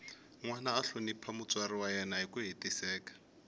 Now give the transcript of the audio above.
nwana a hlonipha mutswari wa yena hiku hetiseka